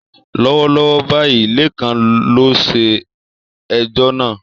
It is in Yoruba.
Lọ́wọ́lọ́wọ́ báyìí, Lekan ló ṣe ẹjọ́ náà.